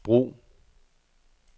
brug